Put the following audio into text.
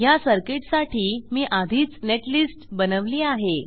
ह्या सर्किटसाठी मी आधीच नेटलिस्ट बनवली आहे